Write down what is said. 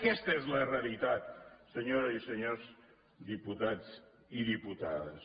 aquesta és la realitat senyores i senyors diputats i diputades